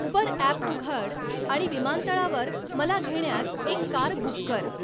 Uber app उघड आणि विमानतळावर मला घेण्यास एक कार बुक कर